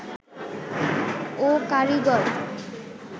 ও কারিগর